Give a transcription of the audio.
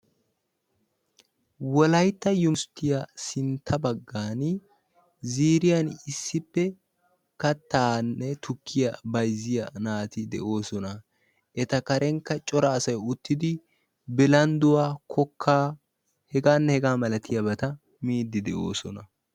Wollaytta uniberstiyaan sintta baggaan ziiriyaan issippe kattaanne tukkiyaa bayzziyaa naati de"oosona. Eta karenkka cora asay uttidi bilandduwaa kokkaanne hegaanne hegaa malatiyaabata miiid de"oosona.